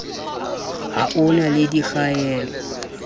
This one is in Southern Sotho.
ha ho na le dikgaello